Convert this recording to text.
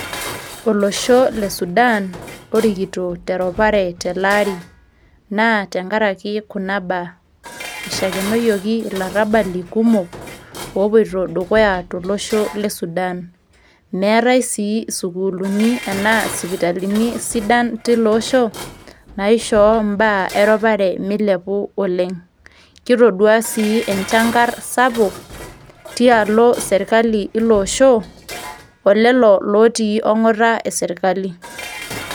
Olosho le Sudan orikito te ropare tele aari, naa tenkara ake kuna baa. Eishakenoyoki ilarabalin kumok, opuoita dukuya tolosho le Sudan. Meatai sii sukuulini anaa isipitalini sidan tiilo osho naishooyo imbaa eropare meilepu oleng'. Kitodua sii enchang'ar sapuk tialo serkali sapuk ilo osho o lelo otii ong'ata e serkali.